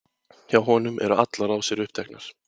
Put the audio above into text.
Hjá honum eru allar rásir uppteknar.